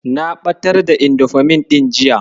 Na ɓatar da indofamin ɗin jiya.